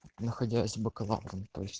ну хотелось бы канал